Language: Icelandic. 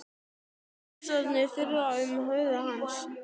Hugsanir þyrlast um í höfði hans.